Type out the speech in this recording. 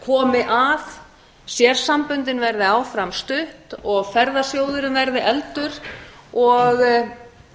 komi að sérsamböndin verði áfram studd og ferðasjóðurinn verði efldur og